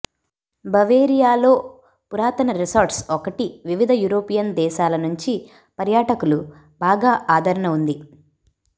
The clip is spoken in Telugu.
బవేరియా లో పురాతన రిసార్ట్స్ ఒకటి వివిధ యూరోపియన్ దేశాల నుంచి పర్యాటకులు బాగా ఆదరణ ఉంది